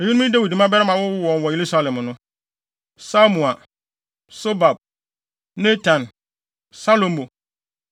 Eyinom ne Dawid mmabarima a wɔwowoo wɔn wɔ Yerusalem no: Samua, Sobab, Natan, Salomo